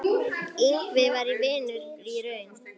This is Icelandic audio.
Ingvi var vinur í raun.